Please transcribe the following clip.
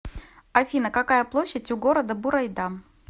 афина какая площадь у города бурайда